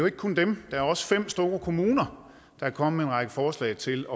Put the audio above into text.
ikke kun dem der er også fem store kommuner der er kommet med en række forslag til